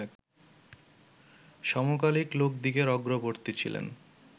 সমকালিক লোকদিগের অগ্রবর্তী ছিলেন